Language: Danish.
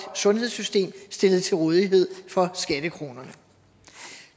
sundhedssystem stillet til rådighed for skattekronerne